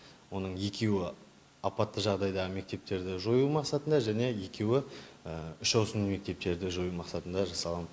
оның екеуі апатты жағдайдағы мектептерді жою мақсатында және екеуі үш ауысымды мектептерді жою мақсатында жасалған